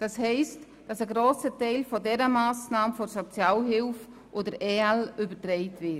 Das heisst, dass ein grosser Teil dieser Massnahme der Sozialhilfe und der EL übertragen wird.